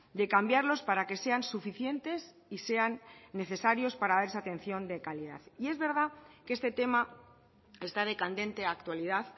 de cambiarlos para que sean suficientes y sean necesarios para dar esa atención de calidad y es verdad que este tema está de candente actualidad